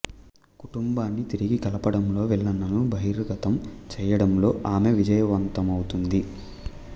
కుటుంబాన్ని తిరిగి కలపడంలో విలన్లను బహిర్గతం చేయడంలో ఆమె విజయవంతమవుతుంది